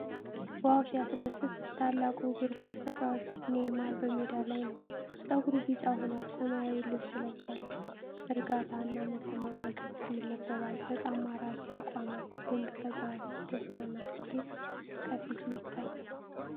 ዋው! ሲያስደስት! ታላቁ እግር ኳስ ተጫዋች ኔይማር በሜዳ ላይ ነው። ፀጉሩ ቢጫ ሆኗል! ሰማያዊ ልብስ ለብሷል። እርጋታ እና መተማመን ከፊቱ ይነበባል። በጣም ማራኪ አቋም ነው። ድንቅ ተጫዋች! ደስታና ስኬት ከፊቱ ይታያል።